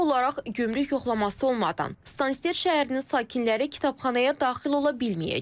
Formal olaraq gömrük yoxlaması olmadan Stansted şəhərinin sakinləri kitabxanaya daxil ola bilməyəcək.